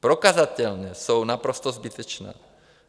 Prokazatelně jsou naprosto zbytečná.